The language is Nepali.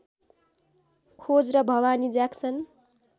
खोज र भवानी ज्याक्सन